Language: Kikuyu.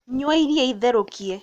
Nyua iria itherũkie